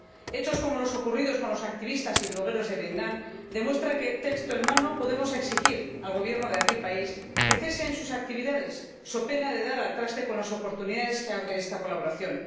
Hechos como los ocurridos con los activistas y blogueros de Vietnam demuestran que, texto en mano, podemos exigir al Gobierno de aquel país que cese sus actividades, so pena de dar al traste con las oportunidades que abre esta colaboración.